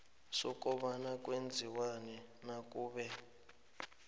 sokobana kwenziwani nakube